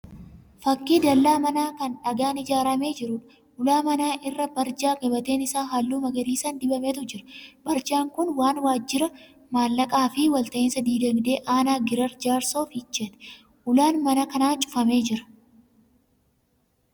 Fakkii dallaa manaa kan dhagaan ijaaramee jiruudha. Ulaa mana kanaa irra barjaa gabateen isaa halluu magariisan dibametu jira. Barjaan kun kan waajjira maallaqaa fi walta'insa dinagdee aanaa Giraar Jaarsoo Fiicheeti. Ulaan mana kanaa cufamee jira.